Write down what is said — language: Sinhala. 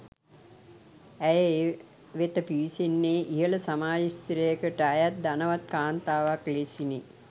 ඇය ඒ වෙත පිවිසෙන්නේ ඉහළ සමාජ ස්ථරයකට අයත් ධනවත් කාන්තාවක ලෙසිනි.